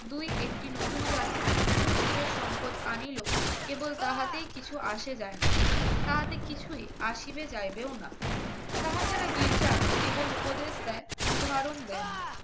দুই একটি নতুন জাতি কি নতুন সুরের সম্পদ আনিলো কেবল তার হাতে কিছু আসে যায় না তারা যারা গির্জা কেবল উপদেশ দেয় উদাহরণ দেয়